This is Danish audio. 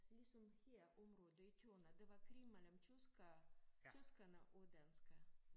Ligesom her området i tyverne der var krig mellem tyskere tyskerne og danskere